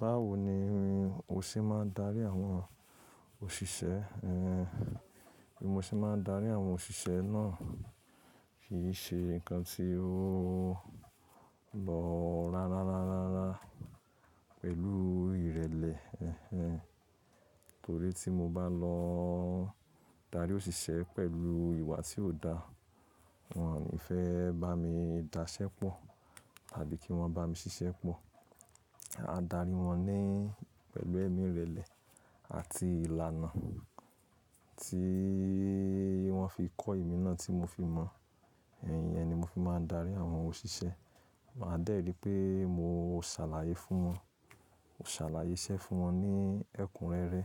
Báwo ni o ṣé máa ń darí àwọn òṣìṣẹ́ ẹ? Bí mo ṣe máa ń darí àwọn òṣìṣẹ́ náà kì í ṣe nǹkan tí ó lọ rárá rárá rárá pẹ̀lú ìrẹ̀lẹ̀ ẹ́ẹ́. Torí tí mo bá lọ darí òṣìṣẹ́ pẹ̀lú ìwà tí kò dá, wọ́n ò ní fẹ́ bá mi daṣẹ́ pọ̀ tàbí kí wọ́n bá mi ṣiṣẹ́ pọ̀. A darí wọn ní pẹ̀lú ẹ̀mí ìrẹ̀lẹ̀ àti ìlànà tí wọ́n fi kọ́ èmi náà tí mo fi mọ̀. Ìyẹn ni mo fi máa ń darí àwọn òṣìṣẹ́. Máa dè rí pé mo ṣàlàyé fún wọn, ṣàlàyé iṣẹ́ fún wọn ní ẹ̀kúnrẹ́rẹ́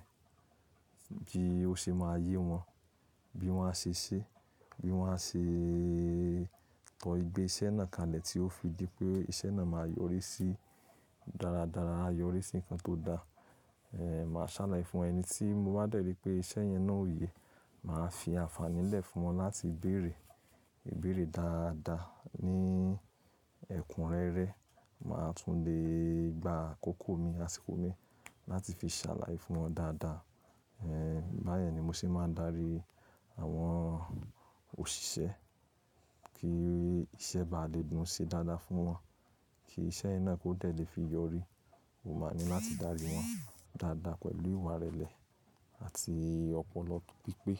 bí ó ṣe máa yé wọn, bí wọ́n á ṣe ṣé, bí wọ́n á ṣe kọ́ igbe ṣẹ́ náà kanlẹ̀ tí ó fi jẹ́ pé iṣẹ́ náà máa yọrí sí dáradára, á yọrí sí nǹkan tó dá. Ẹ̀, màá ṣàlàyé fún ẹni tí mo bá dè rí pé iṣẹ́ yẹn náà ò ye. Màá fi àǹfààní lẹ̀ fún wọn láti béèrè, béèrè dáadáa ní ẹ̀kúnrẹ́rẹ́. Màá tún le gbá àkókò mi, àsìkò mi láti fi ṣàlàyé fún wọn dáadáa. Ẹ̀, báyẹ̀ ni mo ṣé máa ń darí àwọn òṣìṣẹ́ kí iṣẹ́ bá lè dun sí dáadáa fún wọn, kí iṣẹ́ yẹn náà kó tẹ̀ lè fi yọrí. Mo máa ní láti darí wọn dáadáa pẹ̀lú ìwà ìrẹ̀lẹ̀ àti ọpọlọ pípé.